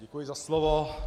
Děkuji za slovo.